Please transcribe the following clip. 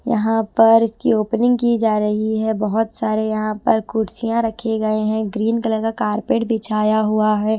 यहां पर इसकी ओपनिंग की जा रही है बहोत सारे यहां पर कुर्सियां रखे गए हैं ग्रीन कलर का कारपेट बिछाया हुआ है।